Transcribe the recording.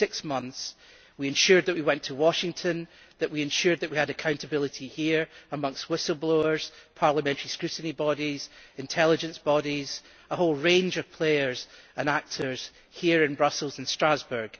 In six months we ensured that we went to Washington and that we had accountability here amongst whistleblowers, Parliamentary scrutiny bodies, intelligence bodies, and a whole range of players and actors here in Brussels and Strasbourg.